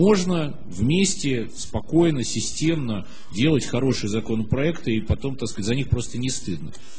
можно вместе спокойно системно делать хороший законопроект и потом так сказать за них просто не стыдно